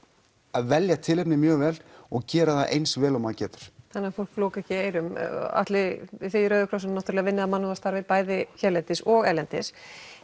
að velja tilefnið mjög vel og gera það eins vel og maður getur þannig að fólk loki ekki eyrum Atli þið í Rauða krossinum vinnið að mannúðarstarfi bæði hérlendis og erlendis